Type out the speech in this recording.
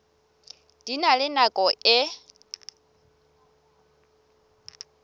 di na le nako e